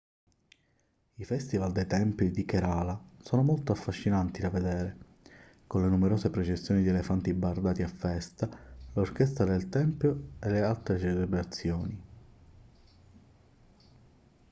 i festival dei templi del kerala sono molto affascinanti da vedere con le numerose processioni di elefanti bardati a festa l'orchestra del tempio e altre celebrazioni